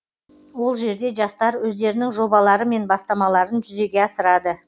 ол жерде жастар өздерінің жобалары мен бастамаларын жүзеге асырады